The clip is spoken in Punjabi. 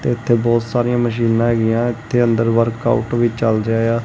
ਤੇ ਇੱਥੇ ਬਹੁਤ ਸਾਰੀਆਂ ਮਸ਼ੀਨਾਂ ਹੈਗੀਆਂ ਇੱਥੇ ਅੰਦਰ ਵਰਕਆਊਟ ਵੀ ਚੱਲ ਜਾਇਯਾ।